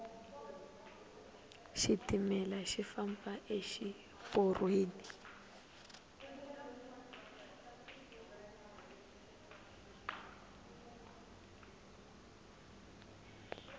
xitimele xi famba exi porweni